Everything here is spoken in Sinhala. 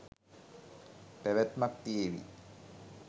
පැවැත්මක් තියේවි.